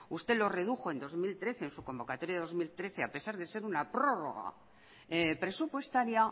usted lo redujo en dos mil trece en su convocatoria de dos mil trece a pesar de ser una prórroga presupuestaria